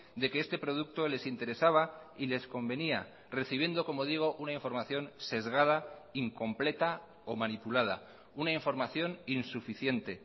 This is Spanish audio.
de que este producto les interesaba y les convenía recibiendo como digo una información sesgada incompleta o manipulada una información insuficiente